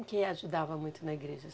que ajudava muito na igreja, a